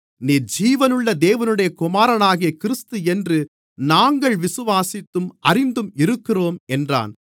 நீர் ஜீவனுள்ள தேவனுடைய குமாரனாகிய கிறிஸ்து என்று நாங்கள் விசுவாசித்தும் அறிந்தும் இருக்கிறோம் என்றான்